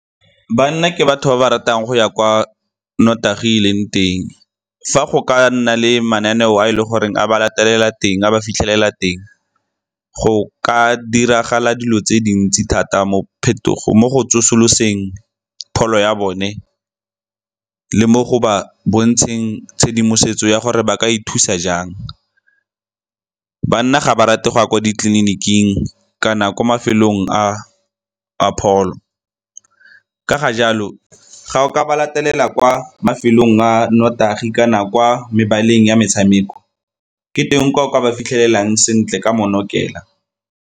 Banna ke batho ba ba ratang go ya kwa notagi e leng teng. Fa go ka nna le mananeo a e le goreng a ba latelela teng, a ba fitlhelela teng, go ka diragala dilo tse dintsi thata mo go tsosoloseng pholo ya bone le mo go ba bontsheng tshedimosetso ya gore ba ka ithusa jang. Banna ga ba rate go ya kwa ditleliniking kana ko mafelong a pholo. Ka ga jalo, ga o ka ba latelela kwa mafelong a notagi kana kwa mebaleng ya metshameko ke teng kwa o ka ba fitlhelelang sentle ka mo .